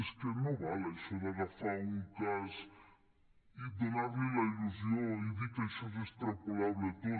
és que no val això d’agafar un cas i donar li la il·lusió i dir que això és extrapolable a tot